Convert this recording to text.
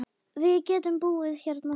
Við getum búið hérna saman.